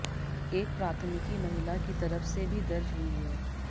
एक प्राथमिकी महिला की तरफ से भी दर्ज हुई है